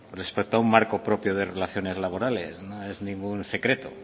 respecto a un marco propio de relaciones laborales no es ningún secreto